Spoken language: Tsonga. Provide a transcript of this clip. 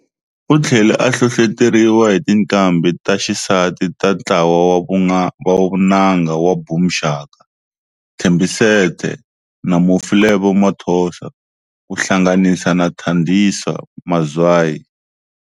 Uthlele a hlohloteriwa hi tinqambhi ta xisati ta ntlawa wa vunanga wa Boom Shaka, Thembi Seete na mufi Lebo Mathosa, ku hlanganisa na Thandiswa Mazwai.